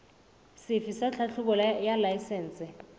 sefe sa tlhahlobo ya laesense